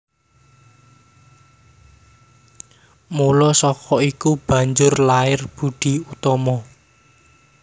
Mula saka iku banjur lair Boedi Oetomo